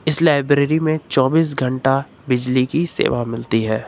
इस लाइब्रेरी में चौबीस घंटा बिजली की सेवा मिलती है।